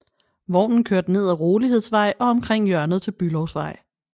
Vognen kørte ned ad Rolighedsvej og omkring hjørnet til Bülowsvej